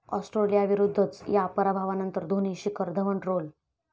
ऑस्ट्रेलियाविरूद्धच्या पराभवानंतर धोनी, शिखर धवन ट्रोल